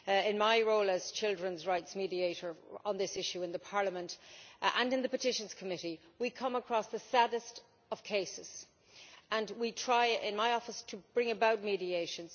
In my role as children's rights mediator on this issue in Parliament and in the Committee on Petitions we come across the saddest of cases, and we try in my office to bring about mediation.